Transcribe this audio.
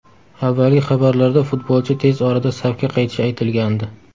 Avvalgi xabarlarda futbolchi tez orada safga qaytishi aytilgandi.